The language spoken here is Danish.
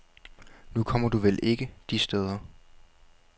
Nu kommer du vel ikke de steder.